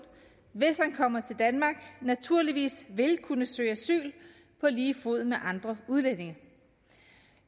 hvis han kommer til danmark naturligvis vil kunne søge asyl på lige fod med andre udlændinge